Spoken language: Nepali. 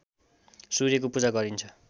सूर्यको पूजा गरिन्छ